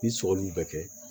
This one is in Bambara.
Ni sɔgɔli bɛ kɛ